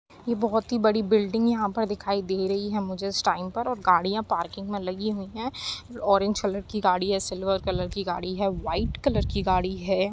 ये बहुत ही बड़ी बिल्डिंग यहाँ पर दिखाई दे रही है। मुझे इस टाईम पर और गाड़ियाँ पार्किंग में लगी हुई हैं। ऑरेंज कलर की गाड़ी है सिल्वर कलर की गाड़ी है वाईट कलर की गाड़ी है।